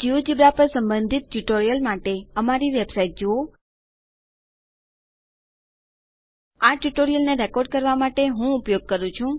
GeoGebra પર સંબંધિત tutorial માટે અમારી વેબસાઇટ જુઓ આ ટ્યુટોરીયલને રેકોર્ડ કરવા માટે હું ઉપયોગ કરું છું